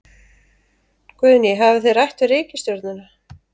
Guðný: Hafið þið rætt við ríkisstjórnina?